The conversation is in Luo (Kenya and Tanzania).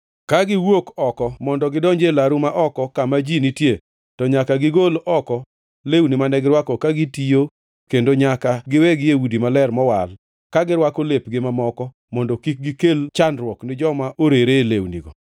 Kagiwuok oko mondo gidonji e laru ma oko kama ji nitie to nyaka gigol oko lewni mane girwako ka gitiyo, kendo nyaka giwegi e udi maler mowal, ka girwako lepgi mamoko, mondo kik gikel chandruok ni joma orere e lewnigo.